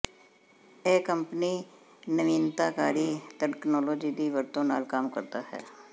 ਇਹ ਕੰਪਨੀ ਨਵੀਨਤਾਕਾਰੀ ਤਕਨਾਲੋਜੀ ਦੀ ਵਰਤੋ ਨਾਲ ਕੰਮ ਕਰਦਾ ਹੈ